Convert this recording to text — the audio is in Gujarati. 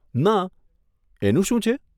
ના, એનું શું છે?